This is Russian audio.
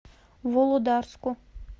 володарску